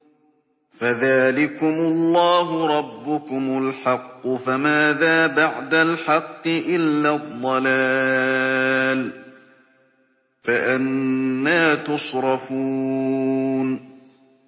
فَذَٰلِكُمُ اللَّهُ رَبُّكُمُ الْحَقُّ ۖ فَمَاذَا بَعْدَ الْحَقِّ إِلَّا الضَّلَالُ ۖ فَأَنَّىٰ تُصْرَفُونَ